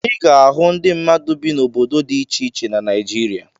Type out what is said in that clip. Ị ga-ahụ ndị mmadụ bi n'obodo dị iche iche na Naịjirịa.